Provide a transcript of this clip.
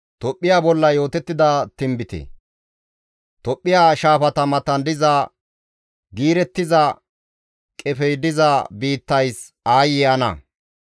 Tophphiya shaafata matan diza giirettiza qefey diza biittays aayye ana!